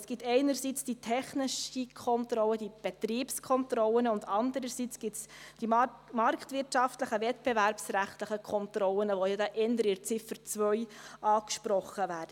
Es gibt einerseits die technischen Kontrollen, die Betriebskontrollen, und andererseits die marktwirtschaftlichen, wettbewerbsrechtlichen Kontrollen, die ja eher in der Ziffer 2 angesprochen werden.